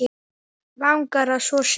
Langar að þvo sér.